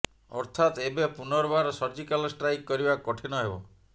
ଅର୍ଥାତ ଏବେ ପୁର୍ନବାର ସର୍ଜିକାଲ ଷ୍ଟ୍ରାଇକ କରିବା କଠିନ ହେବ